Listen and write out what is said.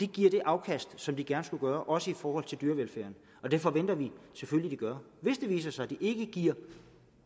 giver det afkast som de gerne skulle gøre også i forhold til dyrevelfærden og det forventer vi selvfølgelig de gør hvis det viser sig de ikke giver